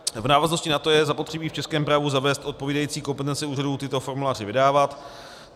V návaznosti na to je zapotřebí v českém právu zavést odpovídající kompetence úřadů tyto formuláře vydávat.